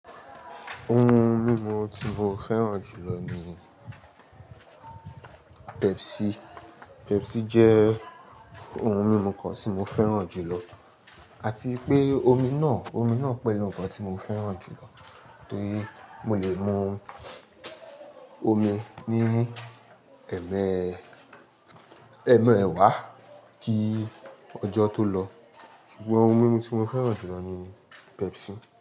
Ohun mímu tí mo fẹ́ràn jù lọ ni Pepsi. Pepsi jẹ́ ohun mímu kan tí mo fẹ́ràn jù lọ àti pé omi náà, omi náà pẹ̀lú ǹkan tí mo fẹ́ràn jù lọ torí mo lè mu omi ní ẹ̀ẹ̀mẹ́, ẹ̀ẹ̀mẹ́wá kí ọjọ́ tó lọ. Ṣùgbọ́n ohun mímu tí mo fẹ́ràn jù lọ ni Pepsi.